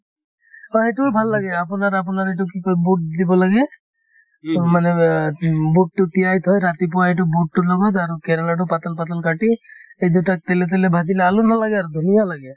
হয়, সেইটোও ভাল লাগে আপোনাৰ আপোনাৰ এইটো কি কই বুট দিব লাগে উম মানে বা উম বুটতো তিয়াই থৈ ৰাতিপুৱা এইটো বুটতোৰ লগত আৰু কেৰেলাতো পাতল পাতল কাটি এই দুটা তেলে তেলে ভাজিলে আলু নালাগে আৰু ধুনীয়া লাগে